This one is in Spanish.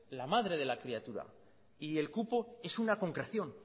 la madre de la criatura y el cupo es una concreción